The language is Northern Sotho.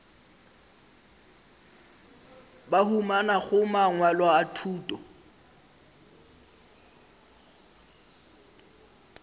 ba humanago mangwalo a thuto